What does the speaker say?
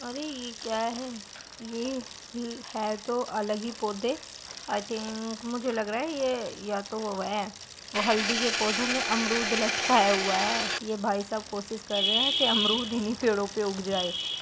अरे ये क्या है ? ये है तो अलग ही पौधे आई थिंक मुझे लग रहा है ये या तो वो है या तो हल्दी के पौधों में अमरूद लटकाया हुआ है | ये भाई साहब कोशिश कर रहे है कि अमरूद इन्ही पेड़ो पर उग जाए।